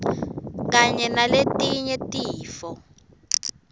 kanye naletinye tifo